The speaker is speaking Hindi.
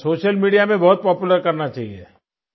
सोशल मीडिया में बहुत पॉपुलर करना चाहिये